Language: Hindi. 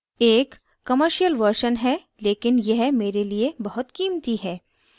एक commercial version है लेकिन यह there लिए बहुत कीमती है